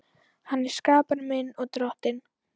Hann er skapari minn og Drottinn.